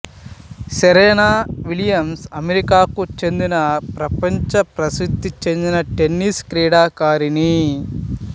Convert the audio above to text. Serena Williams అమెరికాకు చెందిన ప్రపంచ ప్రసిద్ధిచెందిన టెన్నిస్ క్రీడాకారిణి